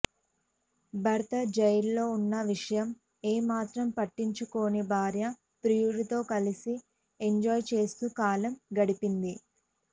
భర్త జైల్లో ఉన్న విషయం ఏమాత్రం పట్టించుకోని భార్య ప్రియుడితో కలిసి ఎంజాయ్ చేస్తూ కాలం గడిపింది